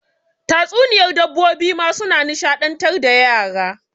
Tatsuniyar dabbobi ma suna nishaɗantar da yara.